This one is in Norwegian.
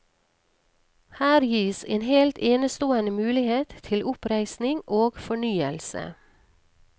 Her gis en helt enestående mulighet til oppreisning og fornyelse.